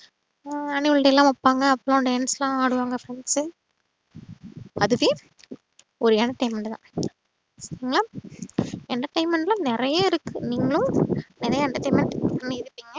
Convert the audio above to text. ஆஅ annual day லா வப்பாங்க dance லா ஆடுவாங்க friends அதுவே ஒரு entertainment தான் ஆ entertainment ல நறைய இருக்கு நீங்களும் நறைய entertainment பண்ணிருப்பிங்க